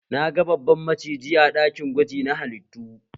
Na ga babban maciji a ɗakin gwaji na halittu